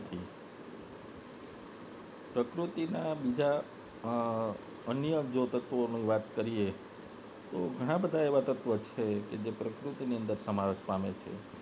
પ્રકૃતિના અન્ય બીજા અમ અન્ય જો તત્વોનું વિશે વાત કરીએ તો ઘણા બધા એવા તત્વો છે જે પ્રકૃતિને દશામા નાશ પામે છે